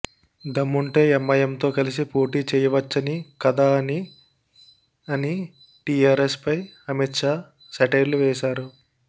దమ్ముంటే ఎంఐఎంతో కలిసి పోటీ చేయవచ్చని కదా అని ఆని టీఆర్ఎస్ పై అమిత్ షా సెటైర్లు వేశారు